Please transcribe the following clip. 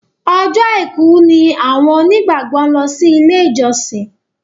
Ọjọ́ aìkú jẹ ní awọn onígbàgbọ lọ si ile ijọsin.